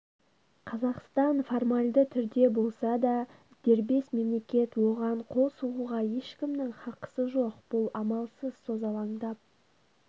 қазақстан формальді түрде болса да дербес мемлекет оған қол сұғуға ешкімнің хақысы жоқ бұл амалсыз созалаңдап